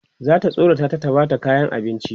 zata tsorata ta ta Bata kayan abinci